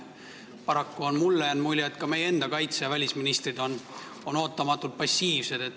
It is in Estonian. Mulle on jäänud mulje, et ka meie enda kaitseminister ja välisminister on paraku ootamatult passiivsed.